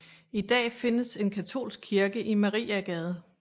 I dag findes en katolsk kirke i Maria Gade